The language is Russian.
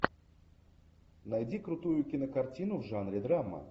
найди крутую кинокартину в жанре драма